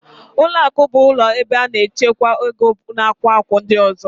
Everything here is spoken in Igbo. Ụlọakụ bụ ụlọ ebe a na-echekwa ego nakwa akụ ndị ọzọ